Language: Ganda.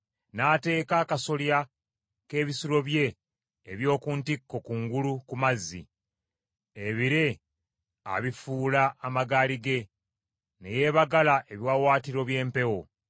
n’ateeka akasolya k’ebisulo bye eby’oku ntikko kungulu ku mazzi; ebire abifuula amagaali ge, ne yeebagala ebiwaawaatiro by’empewo.